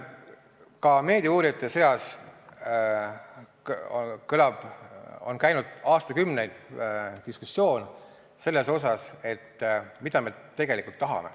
Ka meediauurijate seas on käinud aastakümneid diskussioon selle üle, mida me tegelikult tahame.